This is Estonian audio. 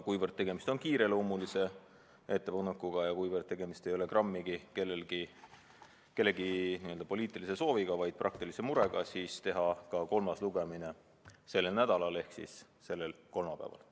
Kuivõrd tegemist on kiireloomulise ettepanekuga ja mitte grammigi kellegi poliitilise sooviga, vaid praktilise murega, siis otsustasime teha ka kolmanda lugemise sellel nädalal, täpsemalt kolmapäeval.